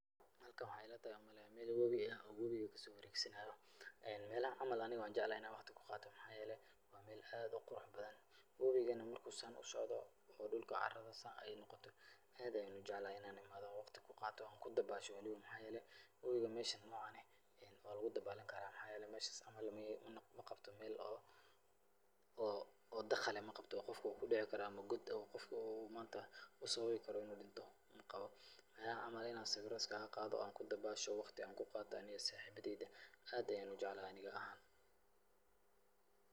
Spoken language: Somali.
Hakan waxaa ila tahay u maleeya meel wobi ah oo wobiga ki soo wareegsanaayo. Meelahan camal ani waan jeclahay in aan wakhti ku qaato. Maxaa yeelay waa meel aad u qurux badan. Wobiga marka uu saan u socdo oo dhulka carada saan ay noqoto, aad ayaan u jeclahay in aan i maado wakhti ku qaato aan ku dabaasho. Maxaa yeelay wabiga meeshan noocan eh waa lugu dabaalan karaa maxaa yeelay meeshas camal meel ma qabto meel oo dakhal eh ma qabto oo qofka uu kudici karo ama god oo qofka maanta u sababi karo in uu dhinto ma qabo. Meelahan camal in aan sawiro iskaga qaado oo aan ku dabaasho wakhti aan ku qaato ani iyo saaxibadeyda aad ayaan u jeclahay aniga ahaan.